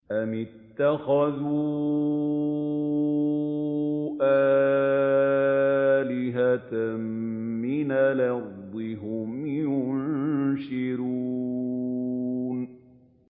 أَمِ اتَّخَذُوا آلِهَةً مِّنَ الْأَرْضِ هُمْ يُنشِرُونَ